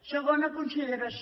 segona consideració